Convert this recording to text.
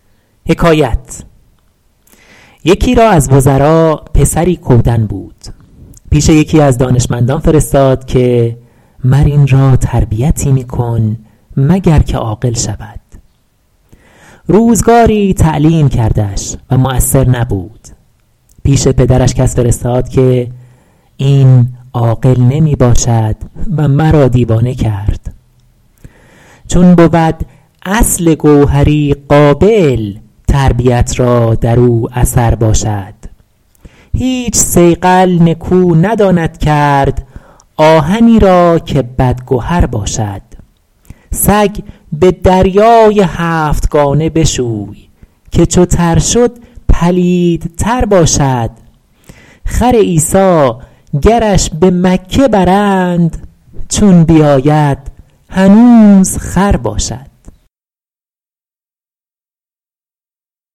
یکی را از وزرا پسری کودن بود پیش یکی از دانشمندان فرستاد که مر این را تربیتی می کن مگر که عاقل شود روزگاری تعلیم کردش و مؤثر نبود پیش پدرش کس فرستاد که این عاقل نمی باشد و مرا دیوانه کرد چون بود اصل گوهری قابل تربیت را در او اثر باشد هیچ صیقل نکو نداند کرد آهنی را که بدگهر باشد سگ به دریای هفتگانه بشوی که چو تر شد پلیدتر باشد خر عیسی گرش به مکه برند چون بیاید هنوز خر باشد